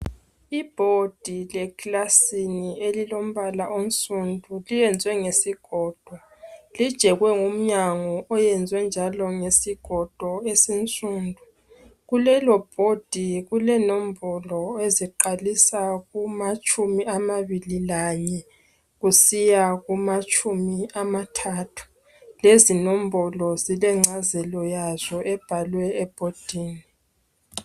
Ibhodi leclasini elilombala onsundu, liyenzwe ngesigodo lijekwe ngomnyango oyezwe njalo ngesigodo esinsundu kulelobhodi kulenombolo eziqalisa kumatshumi amabili lanye kusiya kumatshumi amathathu lezinombolo zilengcazelo yazo ebhalwe ebhodini.